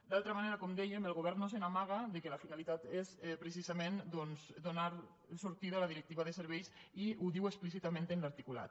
d’altra banda com dèiem el govern no s’amaga que la finalitat és precisament donar sortida a la directiva de serveis i ho diu explícitament en l’articulat